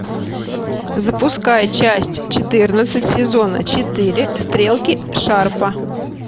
запускай часть четырнадцать сезона четыре стрелки шарпа